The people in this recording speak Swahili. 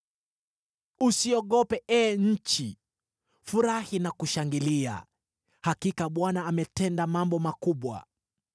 Usiogope, ee nchi; furahi na kushangilia. Hakika Bwana ametenda mambo makubwa.